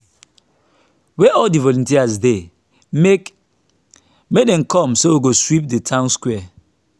where all the volunteers dey make make dem come so we go sweep the town square